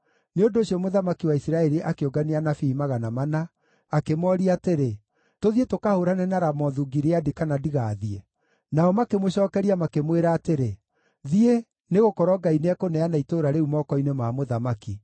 Nĩ ũndũ ũcio mũthamaki wa Isiraeli akĩũngania anabii 400, akĩmooria atĩrĩ, “Tũthiĩ tũkahũũrane na Ramothu-Gileadi kana ndigathiĩ?” Nao makĩmũcookeria makĩmwĩra atĩrĩ, “Thiĩ, nĩgũkorwo Ngai nĩekũneana itũũra rĩu moko-inĩ ma mũthamaki.”